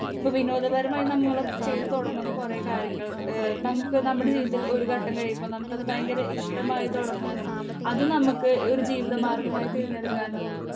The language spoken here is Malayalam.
സ്പീക്കർ 2 ഇപ്പൊ വിനോദപരമായി നമ്മൾ ചെയ്ത് തൊടങ്ങുന്ന കൊറേ കാര്യങ്ങൾ ഏഹ് നമ്മുക്ക് നമ്മുടെ ജീവിതത്തിൽ ഒരു ഘട്ടം കഴിയുമ്പോ നാമമാകാത്ത ഭയങ്കര ഇഷ്ട്ടമായി തൊടങ്ങാനും അത് നമ്മക്ക് ഒരു ജീവിത മാർഗമായി തെരഞ്ഞെടുക്കാനും